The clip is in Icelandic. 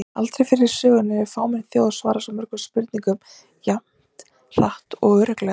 Aldrei fyrr í sögunni hefur fámenn þjóð svarað svo mörgum spurningum jafn hratt og örugglega!